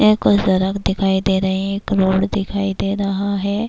یہ کچھ درخت دکھائی دے رہے ہے۔ ایک روڈ دکھائی دے رہا ہے۔